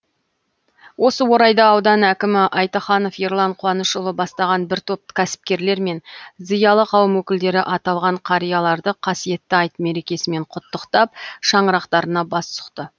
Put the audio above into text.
осы орайда аудан әкімі айтаханов ерлан қуанышұлы бастаған бір топ кәсіпкерлер мен зиялы қауым өкілдері аталған қарияларды қасиетті айт мерекесімен құттықтап шаңырақтарына бас сұқты